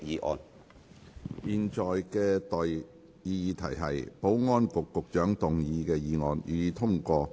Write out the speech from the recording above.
我現在向各位提出的待議議題是：保安局局長動議的議案，予以通過。